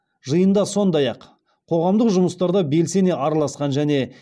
жиында сондай ақ қоғамдық жұмыстарда белсене араласқан және